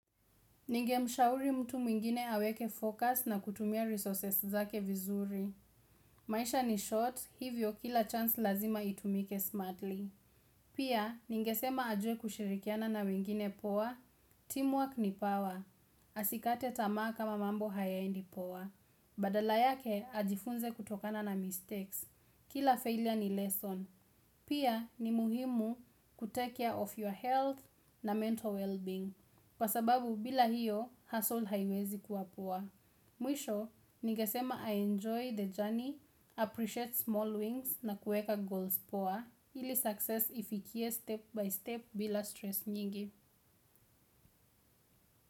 Ninge mshauri mtu mwingine aweke focus na kutumia resources zake vizuri. Maisha ni short, hivyo kila chance lazima itumike smartly. Pia, ningesema ajue kushirikiana na wengine poa, teamwork ni power. Asikate tamaa kama mambo hayaendi poa. Badala yake, ajifunze kutokana na mistakes. Kila failure ni lesson. Pia, ni muhimu kutake care of your health na mental well-being. Kwa sababu bila hiyo, hustle haiwezi kuwa poa. Mwisho, ningesema a-enjoy the journey, appreciate small wins na kueka goals poa, ili success ifikie step by step bila stress nyingi.